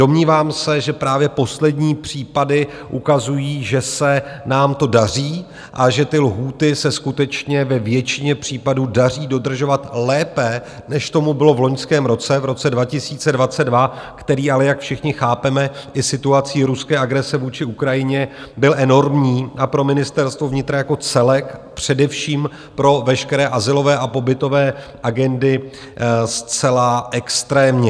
Domnívám se, že právě poslední případy ukazují, že se nám to daří a že ty lhůty se skutečně ve většině případů daří dodržovat lépe, než tomu bylo v loňském roce, v roce 2022, který ale, jak všichni chápeme, i situací ruské agrese vůči Ukrajině byl enormní a pro Ministerstvo vnitra jako celek, především pro veškeré azylové a pobytové agendy zcela extrémně.